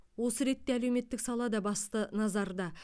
осы ретте әлеуметтік сала да басты назарда